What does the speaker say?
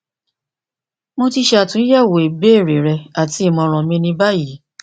mo ti ṣe atunyẹwo ibeere rẹ ati imọran mi ni bayi